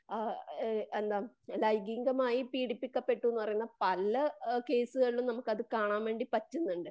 ആ എന്താ പറയുക ലൈംഗീകമായി പീഡിപ്പിക്കപ്പെട്ടുന്ന് പറയുന്ന പല കേസുകളിലും നമുക്കത് കാണാൻ വേണ്ടിപറ്റുന്നുണ്ട്